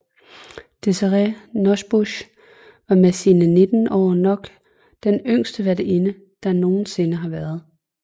Desirée Nosbusch var med sine 19 år nok den yngste værtinde der nogen sinde har været